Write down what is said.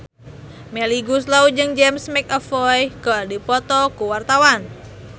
Melly Goeslaw jeung James McAvoy keur dipoto ku wartawan